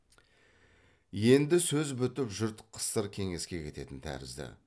енді сөз бітіп жұрт қысыр кеңеске кететін тәрізді